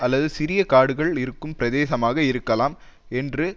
அல்லது சிறிய காடுகள் இருக்கும் பிரதேசமாக இருக்கலாம் என்று